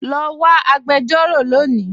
Lọ wọ̀ agbẹ̀jọ̀rọ̀ lónì